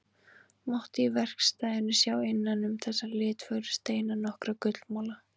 Mátti í verkstæðinu sjá innan um þessa litfögru steina nokkra gullmola.